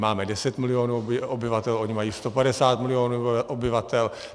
Máme 10 milionů obyvatel, oni mají 150 mil. obyvatel.